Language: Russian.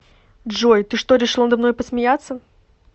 джой ты что решил надо мной посмеяться